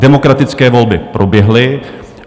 Demokratické volby proběhly.